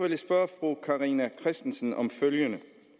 jeg spørge fru carina christensen om følgende